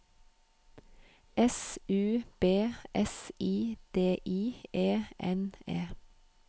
S U B S I D I E N E